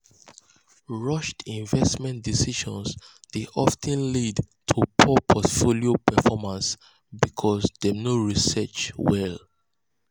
rushed um investment decisions dey of ten lead to poor portfolio um performance um because dem no research well.